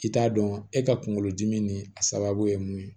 I t'a dɔn e ka kunkolo dimi ni a sababu ye mun ye